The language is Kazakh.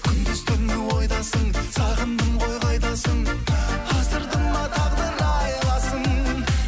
күндіз түні ойдасың сағындым ғой қайдасың асырды ма тағдыр айласын